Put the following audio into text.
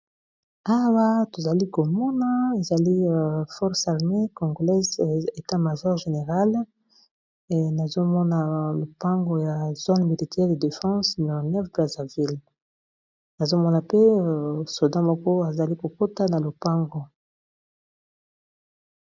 Awa tozali komona ezali force armé conglese etamajor-générale, nazomona lopango ya zone militaire ye defense 19 braseville nazomona pe soda moko azali kokota na lopango.